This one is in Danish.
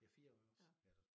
Ja 4 år iggås ja der